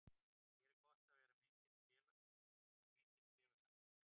Hér er gott að vera og mikill félagsandi.